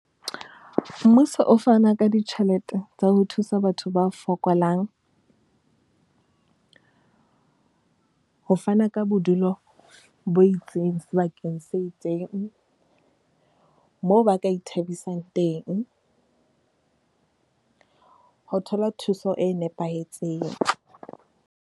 Mmuso o fana ka ditjhelete tsa ho thusa batho ba fokolang. Ho fana ka bodulo bo itseng sebakeng se itseng, moo ba ka ithabisang teng. Ho thola thuso e nepahetseng.